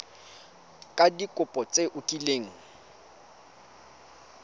ka dikopo tse o kileng